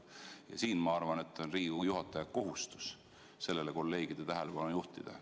Ja siin, ma arvan, on Riigikogu juhataja kohustus sellele kolleegide tähelepanu juhtida.